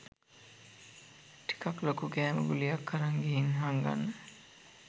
ටිකක් ලොකු කෑම ගුලියක් අරන් ගිහින් හංගන්න